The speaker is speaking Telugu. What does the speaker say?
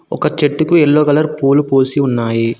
ఒక చెట్టుకు యెల్లో కలర్ పూలు పూసి ఉన్నాయి.